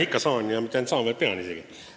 Ikka saan ja mitte ainult ei saa, vaid isegi pean.